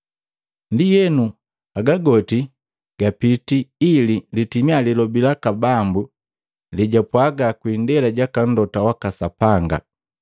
Ndienu, haga goti gapitii ili litimia lilobi laka Bambu lejwapwaga kwi indela jaka mlota waka Sapanga,